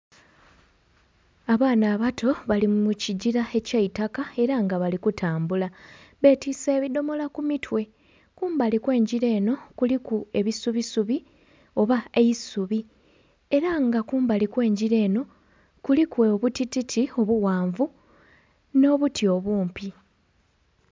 Abaana abato bali mukigira ekyaitaka era nga bali kutambula batise ebidhomola ku mitwe kumbali okwe engira eno kuliku ebisubi subi oba eisubi era nga kumbali okwe engira eno kuliku obutititi obughanvu n'obuti obumpi.